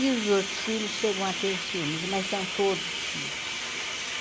E os outros filhos chegam a ter ciúmes, mas são todos filhos.